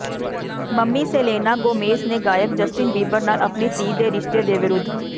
mummy Selena Gomez ਨੇ ਗਾਇਕ Justin Bieber ਨਾਲ ਆਪਣੀ ਧੀ ਦੇ ਰਿਸ਼ਤੇ ਦੇ ਵਿਰੁੱਧ